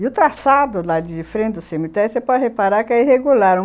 E o traçado lá de Frem do Cemitério, você pode reparar que é irregular.